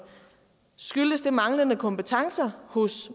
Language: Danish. skyldtes de manglende kompetencer hos